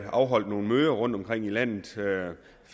afholdt nogle møder rundtomkring i landet